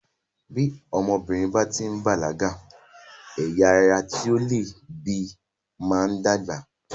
Tí ọmọbìnrin báti bàlágà, ẹyà ara tí ó leè bí máa ń dàgbà.